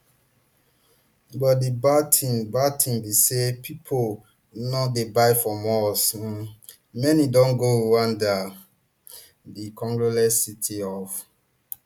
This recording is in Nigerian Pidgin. but di bad tin bad tin be say pipo no dey buy from us um many don go rwanda [di congolese city of]